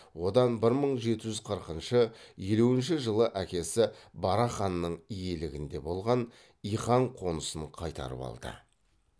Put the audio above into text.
одан бір мың жеті жүз қырқыншы елуінші жылы әкесі барақ ханның иелігінде болған иқан қонысын қайтарып алды